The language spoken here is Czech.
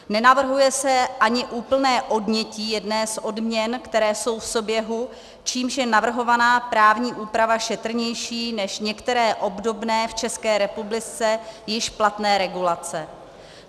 Nenavrhuje se ani úplné odnětí jedné z odměn, které jsou v souběhu, čímž je navrhovaná právní úprava šetrnější než některé obdobné v České republice již platné regulace.